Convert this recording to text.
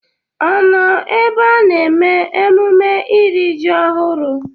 Ọ nọ ebe a na-eme emume iri ji ọhụrụ?